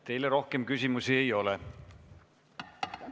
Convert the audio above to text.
Teile rohkem küsimusi ei ole.